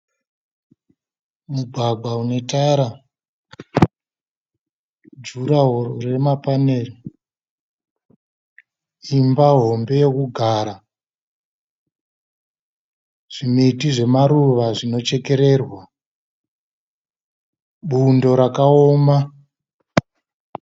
Mugwagwa unetara. Juraho remapanera. Imba hombe yekugara. Zvimiti zvamaruva zvinochekererwa. Bundo rakaoma.